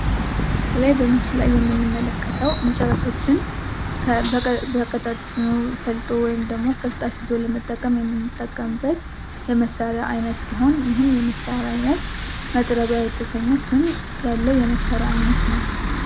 ከላይ በምስሉ ላይ የምንመለከተዉ እንጨቶችን በቀጫጭኑ ፈልጦ ወይም ቅርፅ አስይዞ ለመጠቀም የምንጠቀምበት የመሳሪያ አይነት ሲሆን፤ ይህም የመሳሪያ አይነት "መጥረቢያ" የተሰኘ ስም ያለዉ የመሳሪያ አይነት ነዉ።